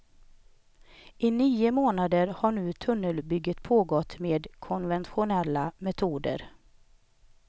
I nio månader har nu tunnelbygget pågått med konventionella metoder.